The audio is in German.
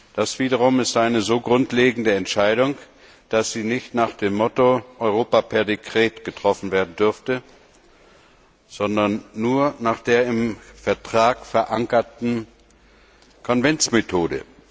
Das wiederum ist eine so grundlegende Entscheidung, dass sie nicht nach dem Motto Europa per Dekret getroffen werden darf, sondern nur nach der im Vertrag verankerten Konventsmethode.